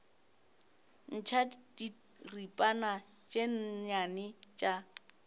ntšha diripana tše nnyane tša